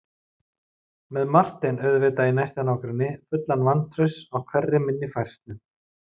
Með Martein auðvitað í næsta nágrenni, fullan vantrausts á hverri minni færslu.